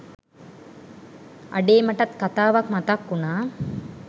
අඩේ මටත් කතාවක් මතක් උනා